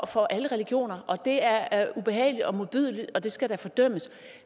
for alle religioner det er er ubehageligt og modbydeligt og det skal da fordømmes